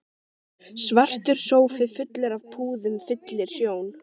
Svartur sófi fullur af púðum fyllir sjón